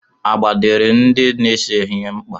Agba dịịrị ndị na-ese ihe mkpa.